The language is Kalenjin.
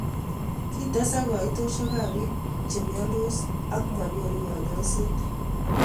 Kitesak koitoshekap piik chemyandos ak manyoru konyoiseet